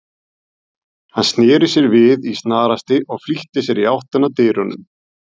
Hann sneri sér við í snarhasti og flýtti sér í áttina að dyrunum.